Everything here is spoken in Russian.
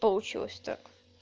получилось так